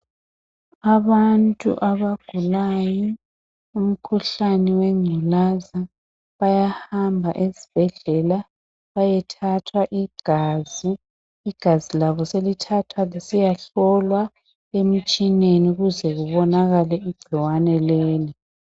Abantu abagulayo umkhuhlane wengculaza bayahamba esibhedlela beyethathwa igazi, igazi labo selithathwa lisiyahlolwa emitshineni ukuze libonakale igcikwane leli.